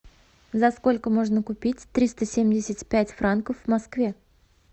за сколько можно купить триста семьдесят пять франков в москве